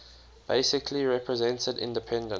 basically represented independent